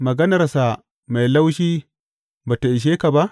Maganarsa mai laushi ba tă ishe ka ba?